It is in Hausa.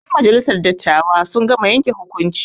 Ƴen majalisar dattawa sun gama yanke hukunci.